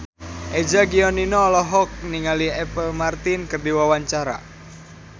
Eza Gionino olohok ningali Apple Martin keur diwawancara